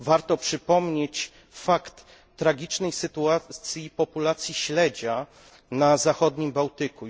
Warto przypomnieć o tragicznej sytuacji populacji śledzia na zachodnim Bałtyku.